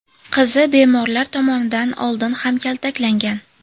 Qizi bemorlar tomonidan oldin ham kaltaklangan.